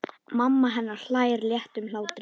Mamma hennar hlær léttum hlátri.